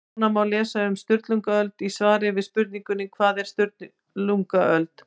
Nánar má lesa um Sturlungaöld í svari við spurningunni Hvað var Sturlungaöld?